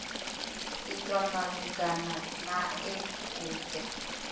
itwa malugana nae u do